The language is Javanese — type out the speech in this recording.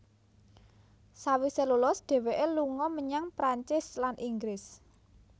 Sawise lulus dheweke lunga menyang Prancis lan Inggris